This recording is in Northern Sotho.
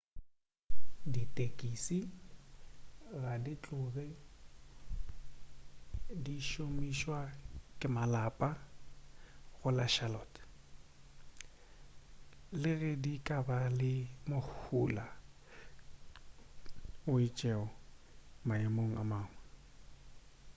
ditekisi ga di tloge di šomišwa ke malapa go la charlotte le ge di ka ba le mohula o itšego maemong a mangwe